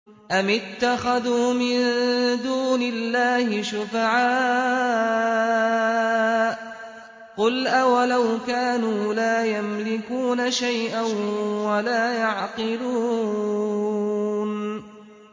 أَمِ اتَّخَذُوا مِن دُونِ اللَّهِ شُفَعَاءَ ۚ قُلْ أَوَلَوْ كَانُوا لَا يَمْلِكُونَ شَيْئًا وَلَا يَعْقِلُونَ